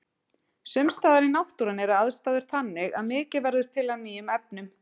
Sums staðar í náttúrunni eru aðstæður þannig að mikið verður til af nýjum efnum.